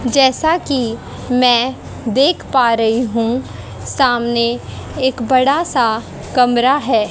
जैसा की मैं देख पा रही हूं सामने एक बड़ा सा कमरा है।